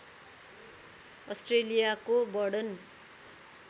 अस्ट्रेलियाको वर्णन